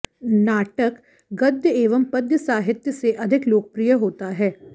नाटक गद्य एवं पद्य साहित्य से अधिक लोकप्रिय होता है